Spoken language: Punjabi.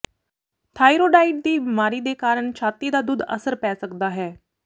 ਥਾਈਰੋਡਾਇਡ ਦੀ ਬਿਮਾਰੀ ਦੇ ਕਾਰਨ ਛਾਤੀ ਦਾ ਦੁੱਧ ਅਸਰ ਪੈ ਸਕਦਾ ਹੈ